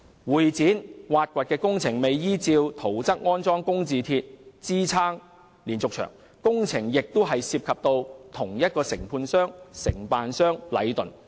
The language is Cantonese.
會展站挖掘工程未有依照圖則安裝工字鐵支撐連續牆，工程亦涉及同一個承建商禮頓。